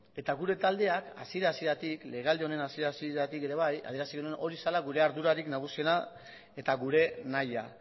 eta gure taldeak hasiera hasieratik legealdi honen hasiera hasieratik ere bai adierazi genuen hori zela gure ardurarik nagusiena eta gure nahia